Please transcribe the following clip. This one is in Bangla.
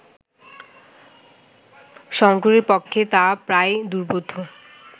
শঙ্করের পক্ষে তা প্রায় দুর্বোধ্য